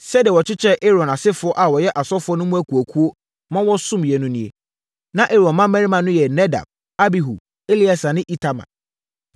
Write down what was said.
Sɛdeɛ wɔkyekyɛɛ Aaron asefoɔ a wɔyɛ asɔfoɔ no mu akuakuo ma wɔsomeeɛ no nie: Na Aaron mmammarima no yɛ Nadab, Abihu, Eleasa ne Itamar.